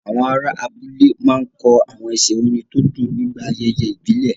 Àwọn ará abúlé máa ń kọ àwọn ẹsẹ̀ orin tó dùn nígbà ayẹyẹ ìbílẹ̀.